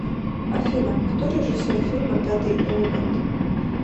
афина кто режиссер фильма пятый элемент